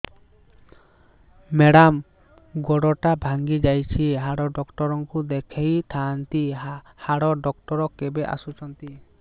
madam ଗୋଡ ଟା ଭାଙ୍ଗି ଯାଇଛି ହାଡ ଡକ୍ଟର ଙ୍କୁ ଦେଖାଇ ଥାଆନ୍ତି ହାଡ ଡକ୍ଟର କେବେ ଆସୁଛନ୍ତି